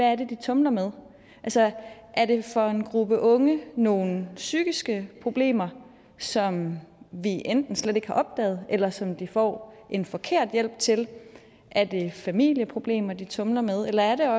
er de tumler med altså er det for en gruppe unge nogle psykiske problemer som vi enten slet ikke har opdaget eller som de får en forkert hjælp til er det familieproblemer de tumler med eller er